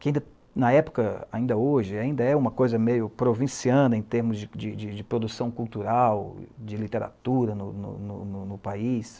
que na época, ainda hoje, ainda é uma coisa meio provinciana em termos de de de produção cultural, de literatura no no no no país.